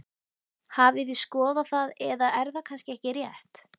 Hafið þið skoðað það eða er það kannski ekki rétt?